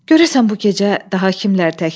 Görəsən bu gecə daha kimlər təkdir?